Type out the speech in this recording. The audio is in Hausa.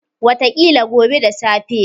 Wataƙila gobe da safe.